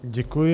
Děkuji.